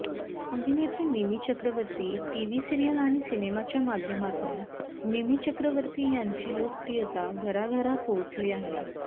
अभिनेत्री Mimi Chakraborty TV serial आणि सिनेमाच्या माध्यमातून मिमी चक्रवर्ती यांची लोकप्रियता घराघरात पोहोचली आहे